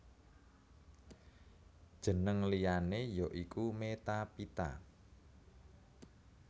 Jeneng liyané ya iku Metaphyta